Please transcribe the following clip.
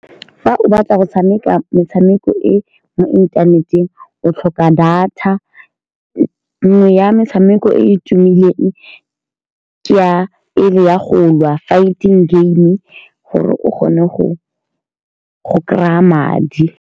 Fa o batla go tshameka metshameko e e mo inthaneteng. O tlhoka data nngwe ya metshameko e e tumileng ke ya e le ya go lwa, fighting game gore o kgone go kry-a madi.